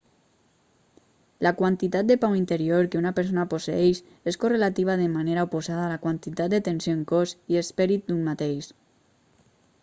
la quantitat de pau interior que una persona posseeix és correlativa de manera oposada a la quantitat de tensió en cos i esperit d'un mateix